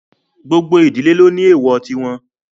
Gbogbo ìdílé ló ní èwọ̀ tí wọn